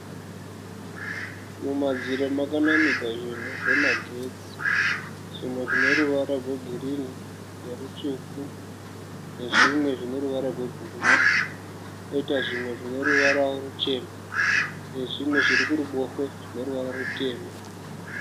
Mumadziro makanamirwa zvinhu zvemagetsi. zvimwe zvineruvara rwegirinhi nerutsvuku zvine ruvara rwebhuruwu. Koita zvimwe zvineruvara ruchena nezvimwe zviri kuruboshwe zvine ruvara rutema.